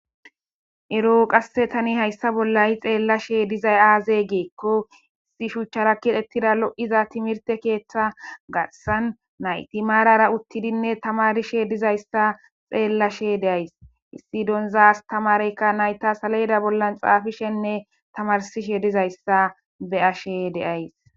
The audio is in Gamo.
Ero qasse tani hayssa bollayi xeellashe dizay aaze geekko issi shuchchara kit ettida lo'iza timirte keeththa garsan nayti maarara uttidinne tamarishe dizayssa xeellashe deays issi donza astamareyka nayta salayda bollan xaafishenne tamarsishe dizayssa be ashe deays.